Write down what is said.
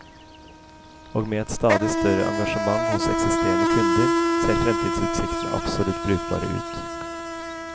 Og med et stadig større engasjement hos eksisterende kunder, ser fremtidsutsiktene absolutt brukbare ut.